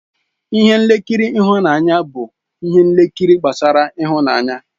Ihe nkiri ịhụnanya bụ ihe nkiri gbasara ịhụnanya.